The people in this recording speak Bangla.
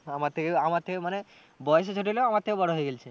আমার থেকে আমার থেকে মানে বয়সে ছোটো হলেও আমার থেকে বড়ো হয়ে গেছে।